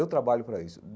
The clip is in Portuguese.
Eu trabalho para isso.